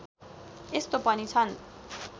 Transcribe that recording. यस्तो पनि छन्